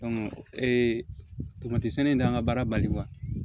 tomati sɛnɛ in de kan ŋa baara bali